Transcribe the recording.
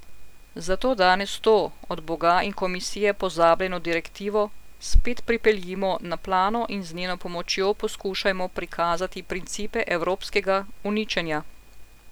Zato danes to, od boga in komisije pozabljeno direktivo, spet pripeljimo na plano in z njeno pomočjo poskušajmo prikazati principe evropskega uničenja.